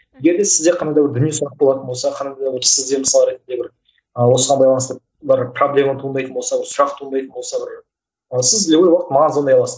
енді сізде қандай бір діни сұрақ болатын болса қандай да бір сізде мысалы ретінде бір ы осыған байланысты бір проблема туындайтын болса сұрақ туындайтын болса бір ал сіз любой уақыт маған звондай аласыз